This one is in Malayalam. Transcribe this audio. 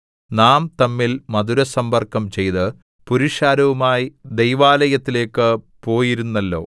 നാം തമ്മിൽ മധുരസമ്പർക്കം ചെയ്ത് പുരുഷാരവുമായി ദൈവാലയത്തിലേക്ക് പോയിരുന്നല്ലോ